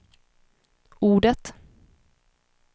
ordet